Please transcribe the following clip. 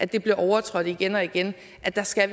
det bliver overtrådt igen og igen altså skal